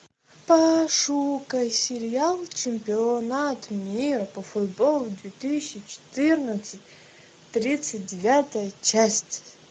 пошукай сериал чемпионат мира по футболу две тысячи четырнадцать тридцать девятая часть